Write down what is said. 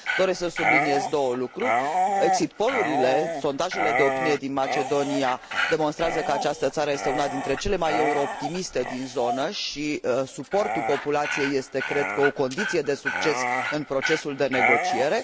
Doresc să subliniez două lucruri exit pollurile, sondajele de opinie din Macedonia, demonstrează că această țară este una dintre cele mai euro optimiste din zonă și suportul populației este, cred, o condiție de succes în procesul de negociere